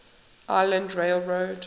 island rail road